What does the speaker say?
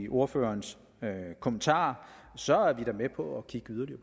ordførers kommentarer så er vi da med på at kigge yderligere